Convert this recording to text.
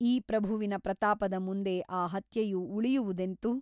ಈ ಪ್ರಭುವಿನ ಪ್ರತಾಪದ ಮುಂದೆ ಆ ಹತ್ಯೆಯು ಉಳಿಯುವುದೆಂತು ?